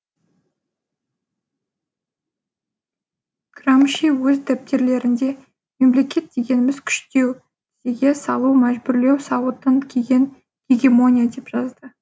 грамши өз дәптерлерінде мемлекет дегеніміз күштеу тізеге салу мәжбүрлеу сауытын киген гегемония деп жазады